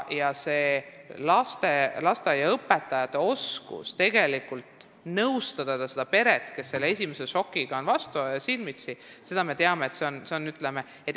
Tähtis on ka lasteaiaõpetajate oskus nõustada seda peret, kes seisab silmitsi esmase šokiga.